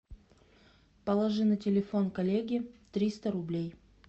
положи на телефон коллеги триста рублей